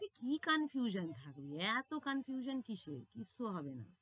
আরে কি confusion এ থাকবে, এতো confusion কিসের? কিচ্ছু হবে না।